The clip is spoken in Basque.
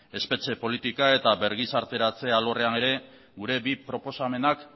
espetxe politika eta bergizarteratze alorrean ere gure bi proposamenak